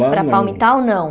Lá não Para Palmitau, não?